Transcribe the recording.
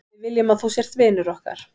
Við viljum að þú sért vinur okkar.